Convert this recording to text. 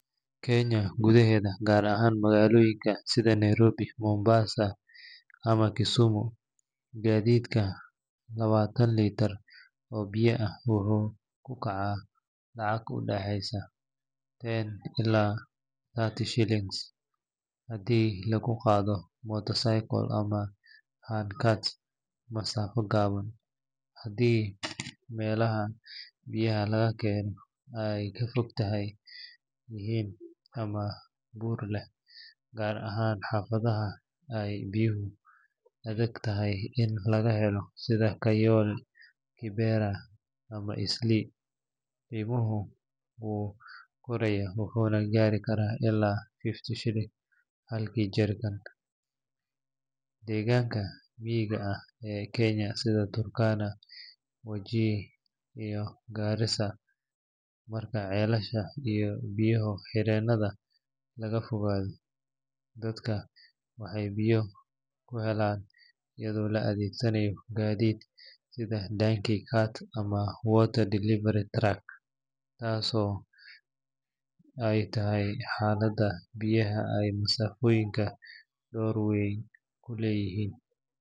Kenya gudaheeda, gaar ahaan magaalooyinka sida Nairobi, Mombasa ama Kisumu, gaadiidka labaatan litir oo biyo ah wuxuu ku kacaa lacag u dhaxaysa ten ilaa thirty Kenyan shillings haddii lagu qaado motorcycle ama handcart masaafo gaaban. Haddii meelaha biyaha laga keenayo ay ka fog yihiin ama buur leh, gaar ahaan xaafadaha ay biyuhu adag tahay in laga helo sida Kayole, Kibera ama Eastleigh, qiimuhu wuu korayaa wuxuuna gaari karaa ilaa fifty shillings halkii jerrycan. Deegaanka miyiga ah ee Kenya sida Turkana, Wajir ama Garissa, marka ceelasha iyo biyo-xireennada laga fogaado, dadka waxay biyo ku helaan iyadoo la adeegsanayo gaadiid sida donkey carts ama water delivery trucks, taasoo keenta in hal labaatan litir ay ku kacdo lacag u dhaxaysa thirty ilaa seventy shillings iyadoo ay xaaladda biyaha iyo masaafooyinka door weyn ku leeyihiin.